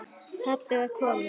Pabbi var kominn.